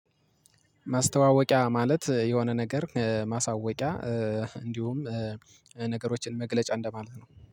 ማስተዋወቂያ ማለት የሆነ ነገር ማሳወቂያ እንዲሁም ነገሮችን መግለጫ እንደማለት ነው